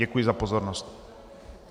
Děkuji za pozornost.